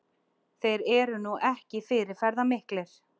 Þeir eru nú ekki fyrirferðarmiklir